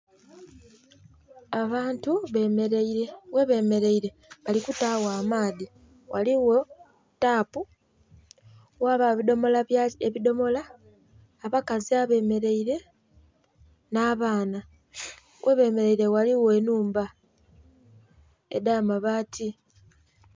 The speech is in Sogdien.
Abantu bemereire ghe bemereire bali kutagho amaadhi, ghaligho taapu ghabagho ebidhomola, abakazi abemereire nh'abaana, ghe bemereire ghaligho enhumba edha mabaati.